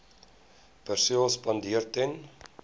perseel spandeer ten